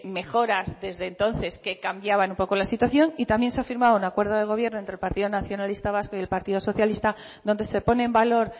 mejoras desde entonces que cambiaban un poco la situación y también se ha firmado un acuerdo de gobierno entre partido nacionalista vasco y el partido socialista donde se pone en valor